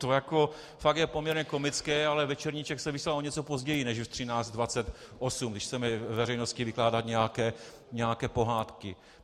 To jako fakt je poměrně komické, ale Večerníček se vysílá o něco později než ve 13.28, když chceme veřejnosti vykládat nějaké pohádky.